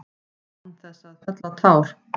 Án þess að fella tár.